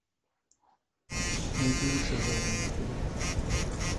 найти лучшее в жанре мультфильм